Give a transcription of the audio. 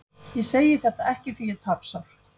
Ég segi þetta ekki því ég er tapsár.